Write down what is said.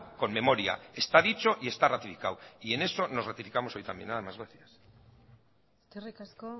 con memoria está dicho y está ratificado en eso nos ratificamos hoy también nada más gracias eskerrik asko